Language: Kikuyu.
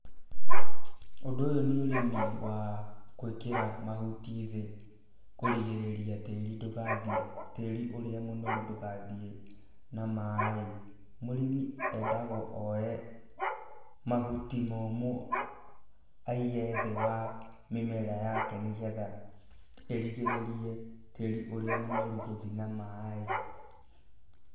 Ũndũ ũyũ nĩ ũrĩmi wa gwĩkĩra mahuti thĩ, kũrigĩrĩria tĩri ndũgathiĩ tĩri ũrĩa mũnoru ndũgathiĩ na maaĩ. Mũrĩmi endagwo oye mahuti momũ aige thĩ wa mĩmera yake nĩ getha ĩrigĩrĩrie tĩri ũrĩa mũnoru gũthiĩ na maaĩ.